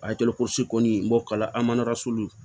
kɔni n b'o kala an man